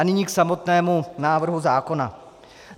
A nyní k samotnému návrhu zákona.